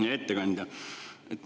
Hea ettekandja!